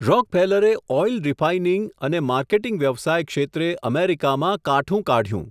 રોકફેલરે oil refining અને marketing વ્યવસાય ક્ષેત્રે અમેરિકામાં કાઠું કાઢયું.